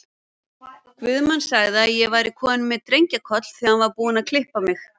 Guðmann sagði að ég væri komin með drengjakoll, þegar hann var búinn að klippa mig.